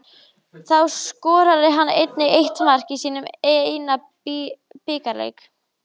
Þá skoraði hann einnig eitt mark í sínum eina bikarleik.